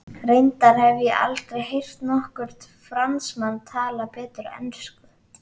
Reyndar hef ég aldrei heyrt nokkurn Fransmann tala betur ensku.